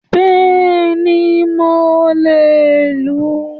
Béèni mo le è lù ú